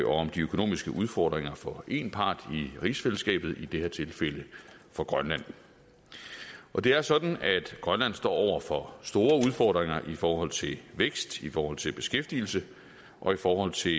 om de økonomiske udfordringer for én part i rigsfællesskabet i det her tilfælde for grønland og det er sådan at grønland står over for store udfordringer i forhold til vækst i forhold til beskæftigelse og i forhold til